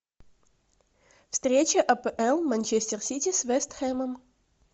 встреча апл манчестер сити с вест хэмом